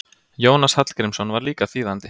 Jónas Hallgrímsson var líka þýðandi.